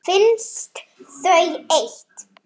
Lóa yppti öxlum.